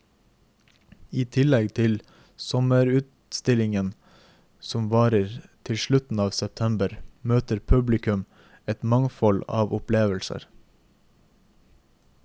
I tillegg til sommerutstillingen som varer til slutten av september, møter publikum et mangfold av opplevelser.